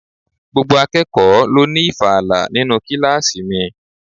Gbogbo akẹ́kọ̀ọ́ ló ní ìfala nínú kíláàsì mi.